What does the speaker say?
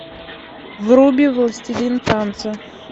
вруби властелин танца